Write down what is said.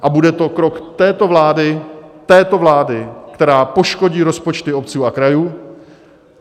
A bude to krok této vlády, této vlády, která poškodí rozpočty obcí a krajů.